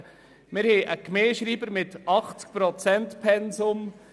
Wir haben einen Gemeindeschreiber mit einem 80 Prozent-Pensum.